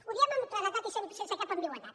ho diem amb claredat i sense cap ambigüitat